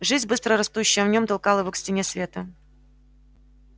жизнь быстро растущая в нём толкала его к стене света